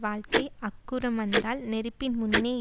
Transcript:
வாழ்க்கை அக்குறம் வந்தால் நெருப்பின் முன்னே